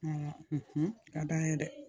a ka d'an ye dɛ